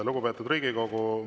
Lugupeetud Riigikogu!